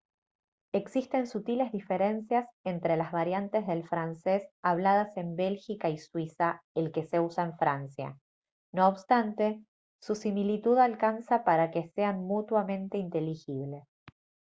existen sutiles diferencias entre las variantes del francés habladas en bélgica y suiza el que se usa en francia no obstante su similitud alcanza para que sean mutuamente inteligibles